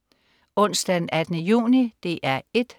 Onsdag den 18. juni - DR 1: